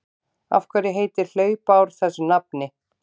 Af hverju heitir hlaupár þessu nafni?